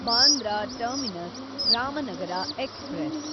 Bandra terminus Ramanagara express